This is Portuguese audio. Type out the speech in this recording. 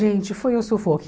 Gente, foi um sufoco.